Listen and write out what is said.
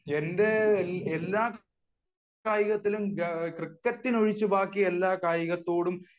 എന്റെ എല്ലാ കായികത്തിലും ക്രിക്കറ്റ് ഒഴിച്ച് ബാക്കി എല്ലാ കായികത്തോടും